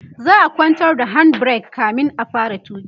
za'a kwantar da hand break kamin a fara tuki